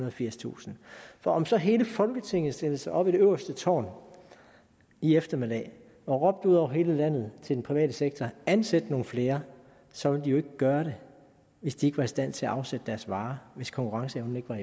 og firstusind om så hele folketinget stillede sig op i det øverste tårn i eftermiddag og råbte ud over hele landet til den private sektor ansæt nogle flere så ville de jo ikke gøre det hvis de ikke var i stand til at afsætte deres varer hvis konkurrenceevnen ikke var